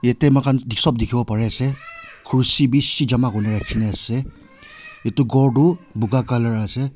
ete moikhan sob dikhi bo pari ase khurshi bishi jama kurine rakhine ase etu ghor tu buga colour ase.